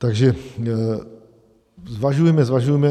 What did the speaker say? Takže zvažujme, zvažujme.